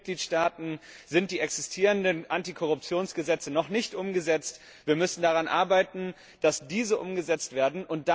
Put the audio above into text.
In vielen Mitgliedstaaten sind die existierenden Antikorruptionsgesetze noch nicht umgesetzt. Wir müssen daran arbeiten, dass diese umgesetzt werden.